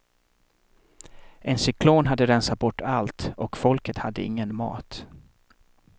En cyklon hade rensat bort allt och folket hade ingen mat.